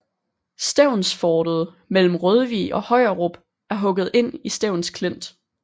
Stevnsfortet mellem Rødvig og Højerup er hugget ind i Stevns Klint